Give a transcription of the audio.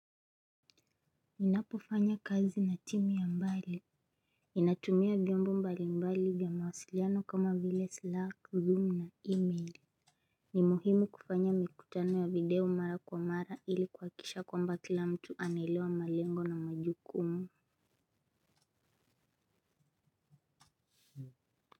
Ninapofanya kazi na timu ya mbali. Ninatumia vyombo mbali mbali vya mawasiliano kama vile Slack, Zoom na email. Ni muhimu kufanya mikutano ya video mara kwa mara ili kuhakikisha kwamba kila mtu anaelewa malengo na majukumu.